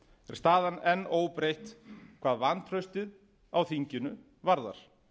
staðan enn óbreytt hvað vantraustið á þinginu varðar